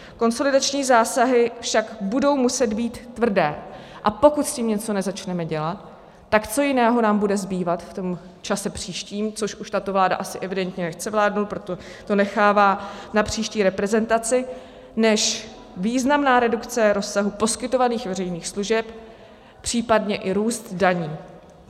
Konsolidační zásahy však budou muset být tvrdé, a pokud s tím něco nezačneme dělat, tak co jiného nám bude zbývat v tom čase příštím, což už tato vláda asi evidentně nechce vládnout, proto to nechává na příští reprezentaci, než významná redukce rozsahu poskytovaných veřejných služeb, případně i růst daní.